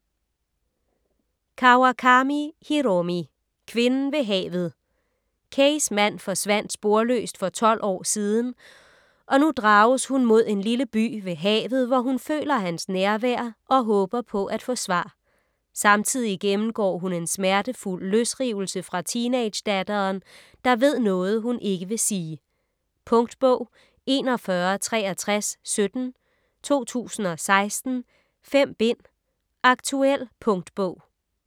Kawakami, Hiromi: Kvinden ved havet Keis mand forsvandt sporløst for tolv år siden, og nu drages hun mod en lille by ved havet, hvor hun føler hans nærvær og håber på at få svar. Samtidig gennemgår hun en smertefuld løsrivelse fra teenagedatteren, der ved noget hun ikke vil sige. Punktbog 416317 2016. 5 bind. Aktuel punktbog